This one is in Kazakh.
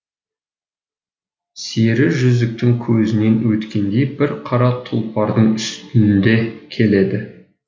сері жүзіктің көзінен өткендей бір қара тұлпардың үстінде келеді